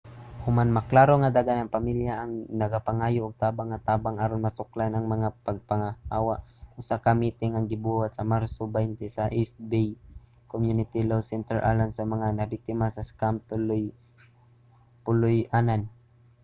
human maklaro nga daghang mga pamilya ang nagapangayo og tabang nga tabang aron masuklan ang mga pagpapahawa usa ka miting ang gibuhat sa marso 20 sa east bay community law center alang sa mga nabiktima sa scam sa puloy-anan